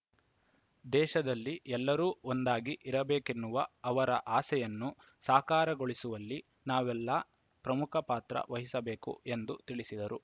ದೇಶದಲ್ಲಿ ಎಲ್ಲರೂ ಒಂದಾಗಿ ಇರಬೇಕೆನ್ನುವ ಅವರ ಆಸೆಯನ್ನು ಸಾಕಾರಗೊಳಿಸುವಲ್ಲಿ ನಾವೆಲ್ಲಾ ಪ್ರಮುಖ ಪಾತ್ರ ವಹಿಸಬೇಕು ಎಂದು ತಿಳಿಸಿದರು